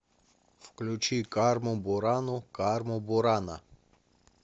включи карму бурану карму бурана